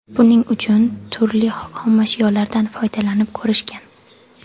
Buning uchun turli xomashyolardan foydalanib ko‘rishgan.